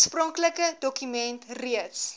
oorspronklike dokument reeds